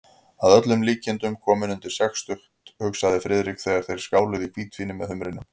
Að öllum líkindum kominn undir sextugt, hugsaði Friðrik, þegar þeir skáluðu í hvítvíni með humrinum.